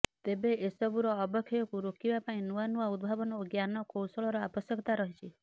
ତେବେ ଏସବୁର ଅବକ୍ଷୟକୁ ରୋକିବା ପାଇଁ ନୂଆ ନୂଆ ଉଦ୍ଭାବନ ଓ ଜ୍ଞାନ କୌଶଳର ଆବଶ୍ୟକତା ରହିଛି